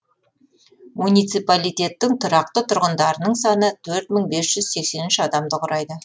муниципалитеттің тұрақты тұрғындарының саны төрт мың бес жүз сексен үш адамды құрайды